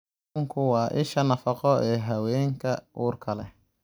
Kalluunku waa isha nafaqo ee haweenka uurka leh.